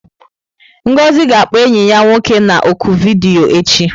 Ngozi ga-akpọ enyi ya nwoke na ọ́kụ vidiyo echi.